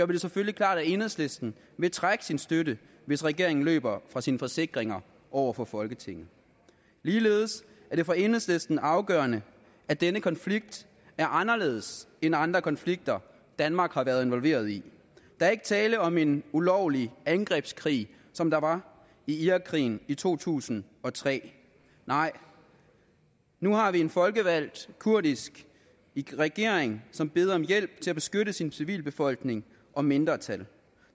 det selvfølgelig klart at enhedslisten vil trække sin støtte hvis regeringen løber fra sine forsikringer over for folketinget ligeledes er det for enhedslisten afgørende at denne konflikt er anderledes end andre konflikter danmark har været involveret i der er ikke tale om en ulovlig angrebskrig som der var i irakkrigen i to tusind og tre nej nu har vi en folkevalgt kurdisk regering som beder om hjælp til at beskytte sin civilbefolkning og mindretal